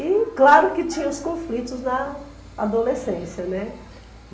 E claro que tinha os conflitos na adolescência, né.